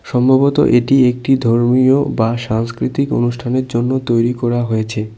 সম্ভবত এটি একটি ধর্মীয় বা সাংস্কৃতিক অনুষ্ঠানের জন্য তৈরি করা হয়েছে।